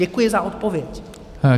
Děkuji za odpověď.